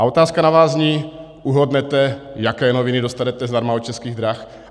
A otázka na vás zní: Uhodnete, jaké noviny dostanete zdarma od Českých drah?